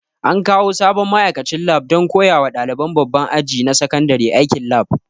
An kawo sabon ma'aikacin lab don koya wa ɗaliban babban aji na sakandare aikin lab